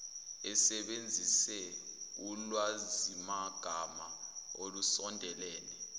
asebenzise ulwazimagama olusondelene